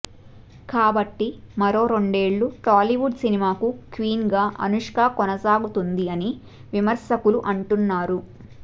కాబట్టి మరో రెండేళ్ళు టాలీవుడ్ సినిమాకు క్వీన్ గా అనుష్క కొనసాగుతుంది అని విమర్శకులు అంటున్నారు